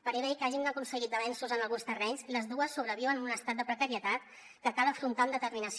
per bé que hagin aconseguit avenços en alguns terrenys les dues sobreviuen en un estat de precarietat que cal afrontar amb determinació